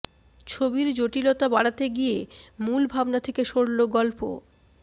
ছবির জটিলতা বাড়াতে গিয়ে মূল ভাবনা থেকে সরল গল্প